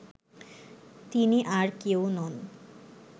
তিনি আর কেউ নন